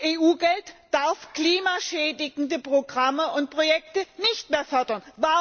und EU Mittel dürfen klimaschädigende Programme und Projekte nicht mehr fördern.